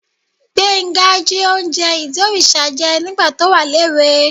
Gbénga jí oúnjẹ ìdí òrìṣà jẹ nígbà tó wà léwe